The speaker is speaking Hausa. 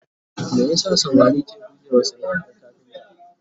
me yasa samari ke guje wa sanaar kafinta?